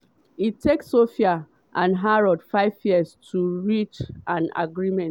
e take sophia and harrods five years to reach an agreement.